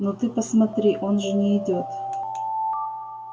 ну ты посмотри он же не идёт